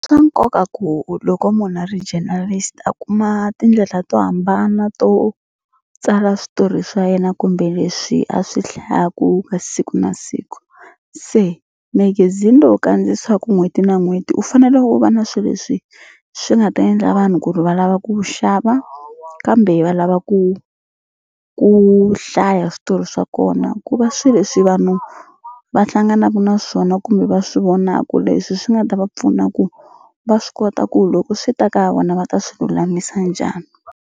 Swa nkoka ku loko munhu a ri journalist a kuma tindlela to hambana to tsala switori swa yena kumbe leswi a swi hlayaku ka siku na siku se magazine lowu kandziyisiwaku n'hweti na n'hweti u fanele u va na swi leswi swi nga ta endla vanhu ku ri va lava ku wu xava kambe va lava ku ku hlaya switori swa kona ku va swi leswi vanhu va hlanganaku na swona kumbe va swi vonaku leswi swi nga ta va pfuna ku va swi kota ku loko swi ta ka vona va ta swi lulamisa njhani.